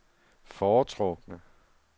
foretrukne